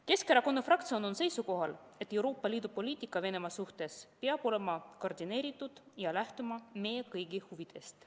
Keskerakonna fraktsioon on seisukohal, et Euroopa Liidu poliitika Venemaa suhtes peab olema koordineeritud ja lähtuma meie kõigi huvidest.